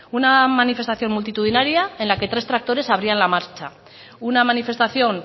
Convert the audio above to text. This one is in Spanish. una manifestación multitudinaria en la que tres tractores abrían la marcha una manifestación